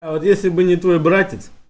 а вот если бы не твой братец